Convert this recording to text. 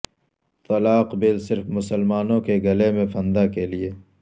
طلاق بل صرف مسلمانوں کے گلے میں پھندہ کیلئے